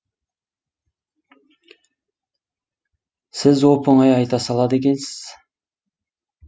сіз оп оңай айта салады екенсіз